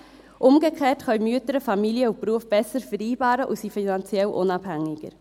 Umgekehrt können die Mütter Familie und Beruf besser vereinbaren und sind finanziell unabhängiger.